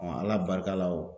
Ala barika la o